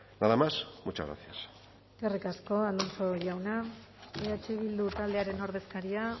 nada más muchas gracias eskerrik asko alonso jauna eh bildu taldearen ordezkaria